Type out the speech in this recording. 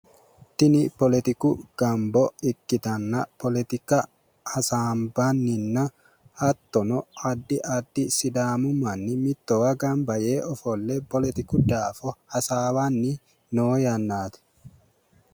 tini poletiku gambo ikkitanna poletika hasaanbanninna hattono addi addi sidaami manni mittowa gamba yee ofolle polotiku daafo hasaawanni noo yannaati.